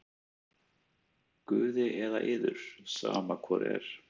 """Guði eða yður, sama hvor er!"""